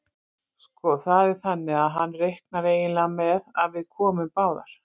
Sko. það er þannig að hann reiknar eiginlega með að við komum báðar.